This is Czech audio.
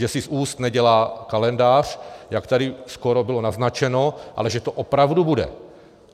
Že si z úst nedělá kalendář, jak tady skoro bylo naznačeno, ale že to opravdu bude.